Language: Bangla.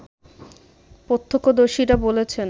প্রত্যক্ষদর্শীরা বলেছে